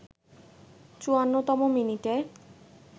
৫৪তম মিনিটে